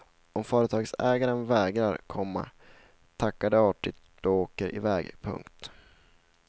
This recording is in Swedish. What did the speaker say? Om företagsägaren vägrar, komma tackar de artigt och åker iväg. punkt